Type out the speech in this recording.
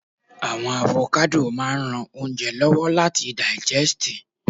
awon avokado maa n ran ounje lowo lati daijesti